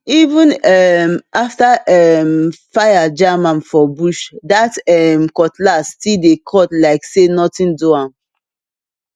even um after um fire jam am for bush that um cutlass still dey cut like say nothing do am